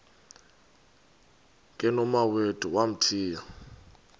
ke nomawethu wamthiya